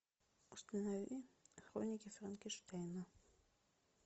установи хроники франкенштейна